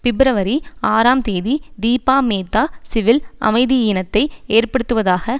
பிப்ரவரி ஆறாம் தேதி தீபா மேத்தா சிவில் அமைதியீனத்தை ஏற்படுத்துவதாக